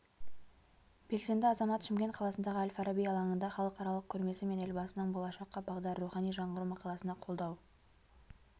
белсенді азамат шымкент қаласындағы әл-фараби алаңында халықаралық көрмесі мен елбасының болашаққа бағдар рухани жаңғыру мақаласына қолдау